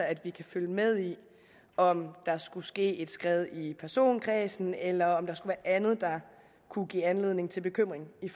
at vi kan følge med i om der skulle ske et skred i personkredsen eller om der skulle være andet der kunne give anledning til bekymring i